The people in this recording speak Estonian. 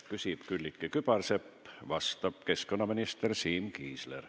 Küsib Külliki Kübarsepp, vastab keskkonnaminister Siim Kiisler.